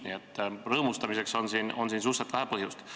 Nii et rõõmustamiseks on suhteliselt vähe põhjust.